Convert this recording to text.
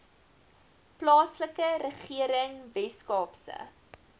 plaaslike regering weskaapse